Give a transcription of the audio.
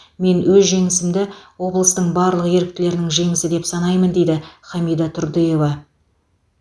мен өз жеңісімді облыстың барлық еріктілерінің жеңісі деп санаймын дейді хамида турдыева